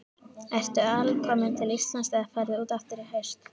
Ertu alkominn til Íslands eða ferðu út aftur í haust?